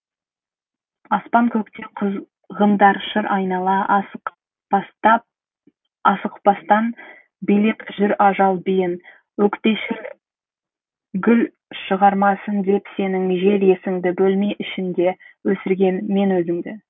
аспан көкте құзғындар шыр айнала асықпастан билеп жүр ажал биін өкпешіл гүлшығармасын деп сенің жел есіңді бөлме ішінде өсірген мен өзіңді